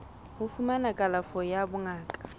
ho fumana kalafo ya bongaka